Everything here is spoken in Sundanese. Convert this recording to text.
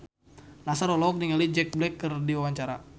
Nassar olohok ningali Jack Black keur diwawancara